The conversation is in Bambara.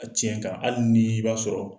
A tiɲɛ kan hali ni i b'a sɔrɔ